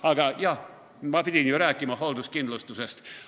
Aga jah, ma pidin ju rääkima hoolduskindlustusest.